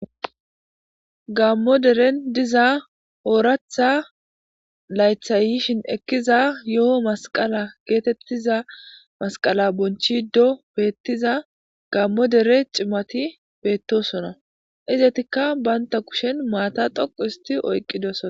Gammo deren diza ooratha laythayyishin ekkiza yo7o masqala geetettiza masqala bonchi do beettiza gammo dere cimati beettosona izetikka baynta kushen maata doqu histi oyqqidosona.